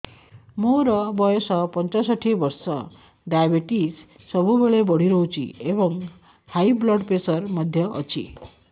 ମୋର ବୟସ ପଞ୍ଚଷଠି ବର୍ଷ ଡାଏବେଟିସ ସବୁବେଳେ ବଢି ରହୁଛି ଏବଂ ହାଇ ବ୍ଲଡ଼ ପ୍ରେସର ମଧ୍ୟ ଅଛି